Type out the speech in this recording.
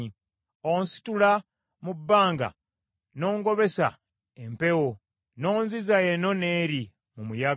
Onsitula mu bbanga n’ongobesa empewo, n’onziza eno n’eri mu muyaga.